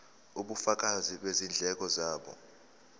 ubufakazi bezindleko zabo